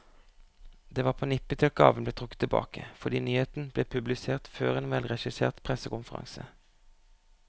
Det var på nippet til at gaven ble trukket tilbake, fordi nyheten ble publisert før en velregissert pressekonferanse.